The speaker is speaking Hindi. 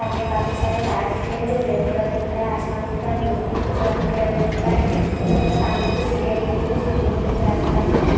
सामने काफी सारे तार दिख रहे हैं जो ब्लैक कलर में दिख रहा है। आसमान दिख रहा है। ब्लू कलर में कुछ वाइट कलर में दिख रहा है और यहाँ पर सामने कुछ सीढ़ीयाँ दिख रही हैं चढ़ने के लिए आसपास में।